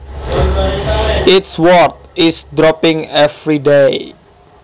Its worth is dropping every day